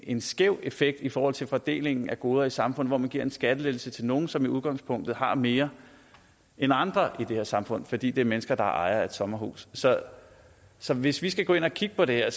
en skæv effekt i forhold til fordelingen af goder i samfundet altså hvor man giver en skattelettelse til nogle som i udgangspunktet har mere end andre i det her samfund fordi det er mennesker der er ejere af et sommerhus så så hvis vi skal gå ind og kigge på det her